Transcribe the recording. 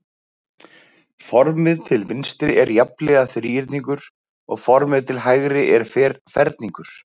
Formið til vinstri er jafnhliða þríhyrningur og formið til hægri er ferningur.